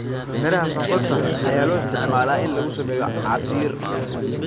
Miraha sonkorta ayaa loo isticmaalaa in lagu sameeyo casiir.